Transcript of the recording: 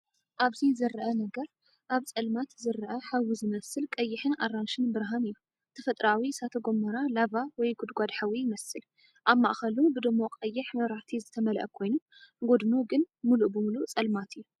ኣብዚ ዝርአ ነገር ኣብ ጸልማት ዝረአ ሓዊ ዝመስል ቀይሕን ኣራንሺን ብርሃን እዩ። ተፈጥሮኣዊ እሳተ ጎመራ ላቫ ወይ ጉድጓድ ሓዊ ይመስል። ኣብ ማእከሉ ብድሙቕ ቀይሕ መብራህቲ ዝተመልአ ኮይኑ፡ ጎድኑ ግን ምሉእ ብምሉእ ጸልማት እዩ።